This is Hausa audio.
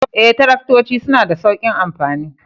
Ee, Taraktoci suna da sauƙin amfani